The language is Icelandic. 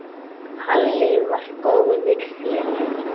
Halli var góður félagi.